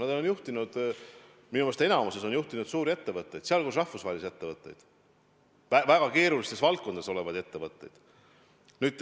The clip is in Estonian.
Nad on juhtinud – minu meelest enamikus on juhtinud – suuri ettevõtteid, sh rahvusvahelisi ettevõtteid, väga keerulistes valdkondades tegutsevaid ettevõtteid.